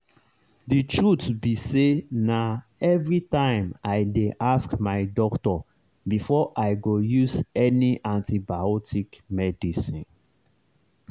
the truth be sayna everytime i dey ask my doctor before i go use any antibiotic medicine.